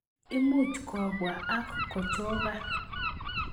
Imuch kobwa ak kochokan